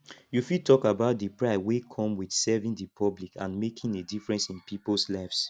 you fit talk about di pride wey come with serving di public and making a difference in peoples lives